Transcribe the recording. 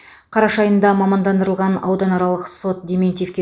қараша айында мамандандырылған ауданаралық сот дементьевке